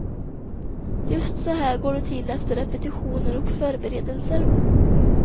Just så här går det till efter repetitioner och förberedelser.